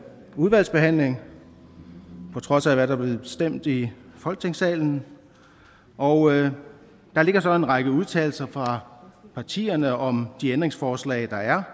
udvalgsbehandling på trods af hvad der blev stemt i folketingssalen og der ligger så en række udtalelser fra partierne om de ændringsforslag der er